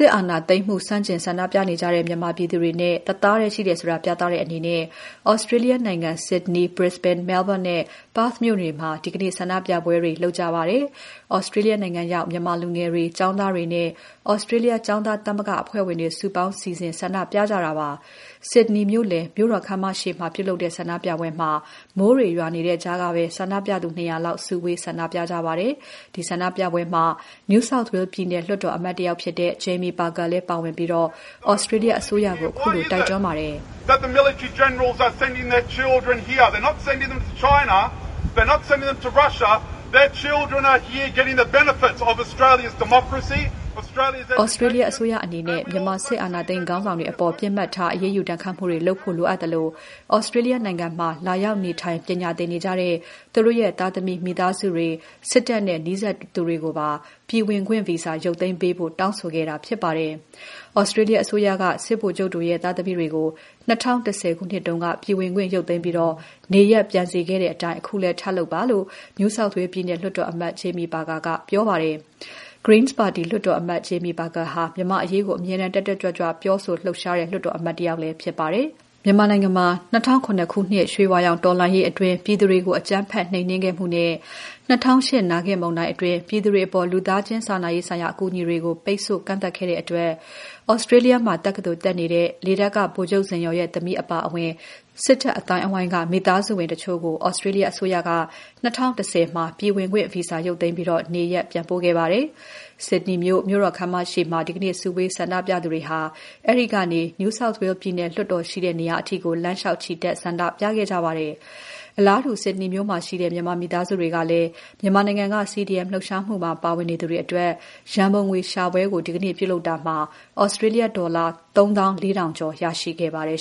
စ်အာဏာသိမ်းမှုကို ဆန့်ကျင်ဆန္ဒပြနေကြတဲ့ မြန်မာပြည်သူတွေနဲ့ တသားတည်းရှိတယ်ဆိုတာ ပြသတဲ့အနေနဲ့ သြစတြေးလျနိုင်ငံ ဆစ်ဒနီ၊ ဘရစ္စဘိန်း၊ မဲလ်ဘုန်းနဲ့ ပါ့သ်မြို့တွေမှာ ဒီနေ့ ဆန္ဒပြပွဲတွေ လုပ်ခဲ့ကြပါတယ်။ သြစတြေးလျရောက် မြန်မာလူငယ်တွေ၊ ကျောင်းသားတွေနဲ့ သြစတြေးလျ ကျောင်းသားသမဂ္ဂ အဖွဲ့ဝင်တွေ စုပေါင်းစီစဉ် ဆန္ဒပြကြတာ ဖြစ်ပါတယ်။ ဆစ်ဒနီမြို့လယ် မြို့တော်ခန်းမရှေ့မှာ ပြုလုပ်တဲ့ ဆန္ဒပြပွဲမှာ မိုးတွေရွာနေတဲ့ကြားကပဲ ဆန္ဒပြသူ ၂၀၀ လောက် စုဝေး ဆန္ဒပြခဲ့ပါတယ်။ ဒီဆန္ဒပြပွဲမှာ NSW ပြည်နယ်လွှတ်တော်အမတ်တယောက်ဖြစ်တဲ့ Jamie Parker လည်းပါဝင်ပြီး သြစတြေးလျ အစိုးရကို ခုလိုတိုက်တွန်းခဲ့ပါတယ်။ “သြစတြေးလျအစိုးရ အနေနဲ့ မြန်မာစစ်အာဏာသိမ်း ခေါင်းဆောင်တွေအပေါ် ပစ်မှတ်ထား အရေးယူ ဒဏ်ခတ်မှုတွေလုပ်ဖို့ လိုအပ်သလို သြစတြေးလျနိုင်ငံမှာ လာရောက်နေထိုင် ပညာသင်နေကြတဲ့ သူတို့ရဲ့ သားသမီး မိသားစုတွေ၊ စစ်တပ်နဲ့ နီးစပ်သူတွေကိုပါ ပြည်ဝင်ခွင့်ဗီဇာ ရုပ်သိမ်းပေးဖို့ တောင်းဆိုခဲ့တာ ဖြစ်ပါတယ်။ သြစတြေးလျ အစိုးရက စစ်ဗိုလ်ချုပ်တွေရဲ့ သားသမီးတွေကို ၂၀၁၀ ခုနှစ်တုန်းက ပြည်ဝင်ခွင့်ရုပ်သိမ်းပြီး နေရပ်ပြန်စေခဲ့တဲ့အတိုင်း အခုလည်း ထပ်လုပ်ပါ။” လို့ NSW ပြည်နယ်လွှတ်တော်အမတ် Jamie Parker က ပြောပါတယ်။ Greens ပါတီ လွှတ်တော်အမတ် Jamie Parker ဟာ မြန်မာ့အရေးကို အမြဲတမ်း တက်တက်ကြွကြွ ပြောဆိုလှုပ်ရှားတဲ့ လွှတ်တော်အမတ်လည်း ဖြစ်ပါတယ်။ ၂၀၀၇ ခုနှစ် ရွှေဝါရောင်တော်လှန်ရေးအတွင်း ပြည်သူတွေကို အကြမ်းဖက် နှိမ်နင်းမှုနဲ့ ၂၀၀၈ နာဂစ်မုန်တိုင်းအတွင်း ပြည်သူတွေအပေါ် လူသားချင်း စာနာရေးဆိုင်ရာ အကူအညီတွေကို ပိတ်ဆို့ ကန့်သတ်ခဲ့တဲ့အတွက် သြစတြေးလျမှာ တက္ကသိုလ်တက်နေတဲ့ လေတပ်က ဗိုလ်ချုပ်ဇင်ယော်ရဲ့သမီး အပါအဝင် စစ်တပ်အသိုင်းအဝိုင်းက မိသားစုဝင်တချို့ကို သြစတြေးလျ အစိုးရက ၂၀၁၀ မှာ ပြည်ဝင်ခွင့်ဗီဇာ ရုပ်သိမ်းပြီး နေရပ်ပြန်ပို့ခဲ့ပါတယ်။ ဆစ်ဒနီမြို့ မြို့တော်ခန်းမရှေ့မှာ စုဝေးဆန္ဒပြသူတွေဟာ အဲဒီကနေ NSW ပြည်နယ်လွှတ်တော်ရှိတဲ့ နေရာအထိ လမ်းလျှောက်ချီတက် ဆန္ဒပြခဲ့ကြပါတယ်။ အလားတူ ဆစ်ဒနီမြို့မှာရှိတဲ့ မြန်မာမိသားစုတွေကလည်း မြန်မာနိုင်ငံက CDM လှုပ်ရှားမှုမှာ ပါဝင်နေသူတွေအတွက် ရန်ပုံငွေရှာပွဲကို ဒီနေ့ ပြုလုပ်ခဲ့ကြတာမှာ သြစတြေးလျဒေါ်လာ ၃၄,၀၀၀ ကျော် ရရှိခဲ့ပါတယ်